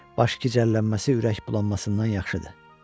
Baş gicəllənməsi ürək bulanmasından yaxşıdır.